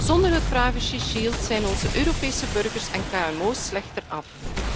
Zonder het privacy shield zijn onze Europese burgers en kmo's slechter af.